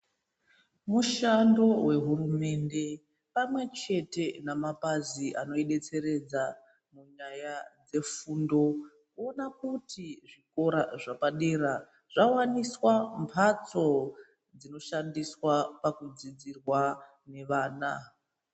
Mushando nehurumende pamwe chete namapazi ano detseredzwa nyaya dzefundo kuona kuti zvikora zvepadera zvawaniswa mbatso dzino shandiswa pakudzidzirwa vana.